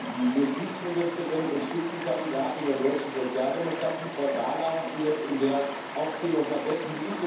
Die Justizministerin und Spitzenkandidatin der deutschen Sozialdemokratie, Frau Barley, hast du jetzt in der Aufzählung vergessen.